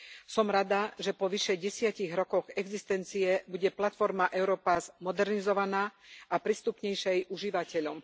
Som rada, že po vyše desiatich rokoch existencie bude platforma Europass modernizovaná a prístupnejšia jej užívateľom.